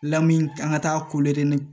Lamin an ka taa ni